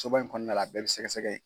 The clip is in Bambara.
Soba in kɔnɔna la a bɛɛ bɛ sɛgɛsɛgɛ ye.